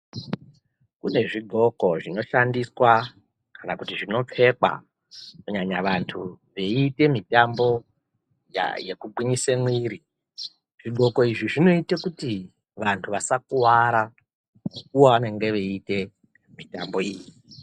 Kune zvidhloko zvinoshandiswa kana kuti zvinopfekwa kunyanya vantu veiite mitambo yekuginyise mwiri. Zvidhloko izvi zvinoite kuti vantu vasakuvara mukuvo vavanenge veiite mitambo iyi.